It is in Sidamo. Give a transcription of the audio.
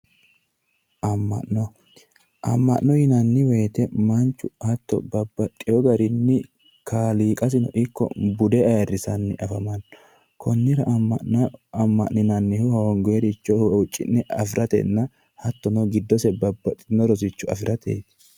amma'no amma'no yinnanni woyte manchu hatto babbaxewo garinni kaaliqasinno ikko bude babaxewo garinni ayrisanni afamanno amma'no amma'ninannihu hoongoyre huucci'ne afiratenna hattono giddose babaxewo rosicho afirateeti